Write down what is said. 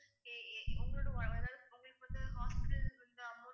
உங்களோட அதாவது உங்களுக்கு வந்து hospital வந்து amount